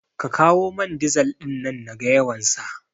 Ka kawo man dizal ɗin nan naga yawansa